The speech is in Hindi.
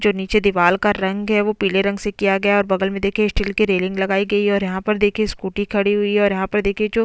देखिये सामने बोर्ड पर लिखा हुआ है उप संचालक कृषि एवं प्रोजेक्ट डायरेक्टर और ऊपर देखिये लाइट लगी हुई है बड़ी सी और यहाँ पर देखिये--